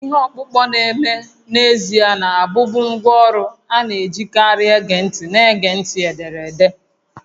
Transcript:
Ihe ọkpụkpọ na-eme n'ezie na-abụbu ngwá ọrụ a na-ejikarị ege ntị na-ege ntị ederede